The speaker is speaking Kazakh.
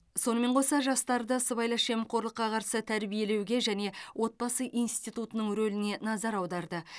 сонымен қоса жастарды сыбайлас жемқорлыққа қарсы тәрбиелеуге және отбасы институтының рөліне назар аударды